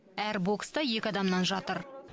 әр бокста екі адамнан жатыр